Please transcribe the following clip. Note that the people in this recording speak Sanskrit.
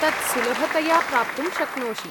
तत् सुलभतया प्राप्तुं शक्नोषि।